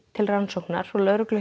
til rannsóknar hjá lögreglu